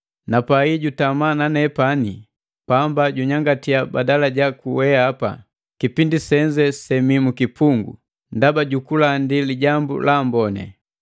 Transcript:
Napai jutama na nepani pamba junyangatiya badala jaku weapa kipindi senze semii mu kipungu ndaba jukulandi Lijambu la Amboni.